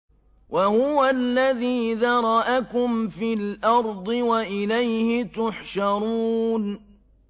وَهُوَ الَّذِي ذَرَأَكُمْ فِي الْأَرْضِ وَإِلَيْهِ تُحْشَرُونَ